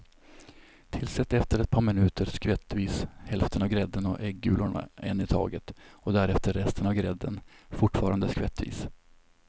Tillsätt efter ett par minuter skvättvis hälften av grädden och äggulorna en i taget och därefter resten av grädden, fortfarande skvättvis.